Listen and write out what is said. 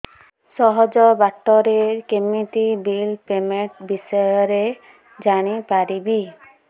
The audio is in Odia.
ସହଜ ବାଟ ରେ କେମିତି ବିଲ୍ ପେମେଣ୍ଟ ବିଷୟ ରେ ଜାଣି ପାରିବି